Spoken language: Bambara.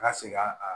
Ka seg'a kan